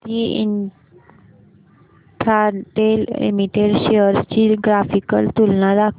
Bharti Infratel Limited shares ची graphical तुलना दाखव